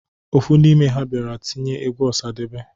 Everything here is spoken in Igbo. Ofu n'ime ha bịara tinye egwu Ọsadebe.